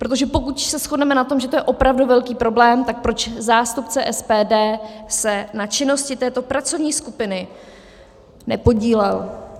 Protože pokud se shodneme na tom, že to je opravdu velký problém, tak proč zástupce SPD se na činnosti této pracovní skupiny nepodílel?